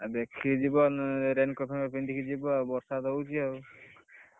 ଆଉ ଦେଖିକି ଯିବ raincoat ଫେନି କୋଟ ପିନ୍ଧିକି ଯିବ ଆଉ ବର୍ଷା ତ ହଉଛି।